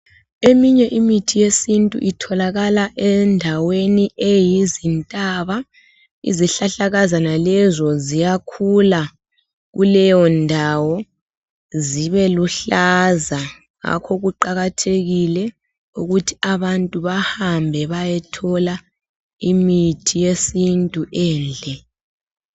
Eminye imithi yesintu itholakala endaweni eyizintaba. Izihlahlakazana lezo ziyakhula kuleyondawo zibeluhlaza ngakho kuqakathekile ukuthi abantu bahambe bayethola imithi yesintu endle.